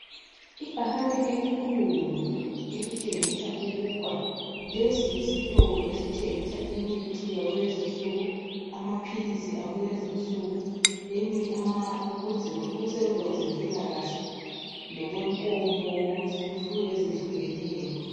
Ibhakane elikhulu elitshengisa ukuba lesi yisitolo esithengisa imithi yakulezinsuku, amaphilisi akulezinsuku ukusebenza kwezempilakahle lokwenkomo, izifuyo ezehlukeneyo.